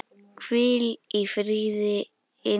Hvíl í friði indæl systir.